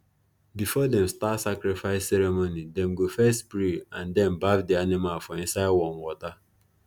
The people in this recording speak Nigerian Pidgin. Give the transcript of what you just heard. before them start sacrifice ceremony them go first pray and then baff the animal for inside warm water